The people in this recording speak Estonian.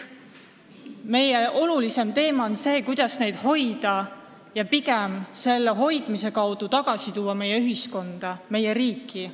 Meie jaoks on oluline küsimus, kuidas neid seotuna hoida ja selle hoidmise toel tuua tagasi meie ühiskonda, meie riiki.